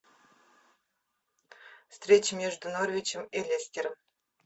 встреча между норвичем и лестером